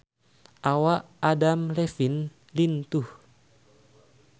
Awak Adam Levine lintuh